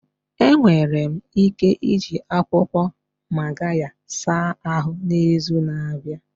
Enwere m ike iji akwụkwọ Magarya saa ahụ n'izu na-abịa?